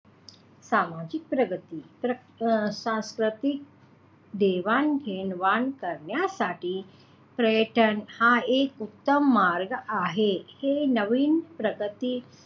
सामाजिक प्रगती अं सांस्कृतिक देवाणघेवाण करण्यासाठी पर्यटन हा एक उत्तम मार्ग आहे हे नवीन प्रगती,